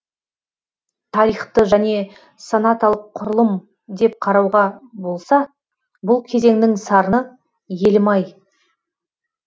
тарихты және сонаталық құрылым деп қарауға болса бұл кезеңнің сарыны елім ай